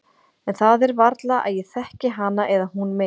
En það er varla að ég þekki hana eða hún mig.